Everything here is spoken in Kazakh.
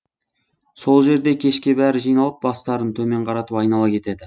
сол жерде кешке бәрі жиналып бастарын төмен қаратып айнала кетеді